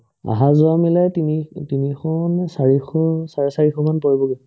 আহা-যোৱাই মিলাই তিনি তিনিশ নে চাৰিশ চাৰে চাৰিশমান পৰিব